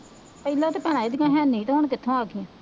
ਪਹਿਲਾਂ ਤੇ ਭੈਣਾਂ ਇਹਦੀਆਂ ਹੈ ਨਹੀਂ ਤੇ ਹੁਣ ਕਿੱਥੋਂ ਆ ਗਈਆਂ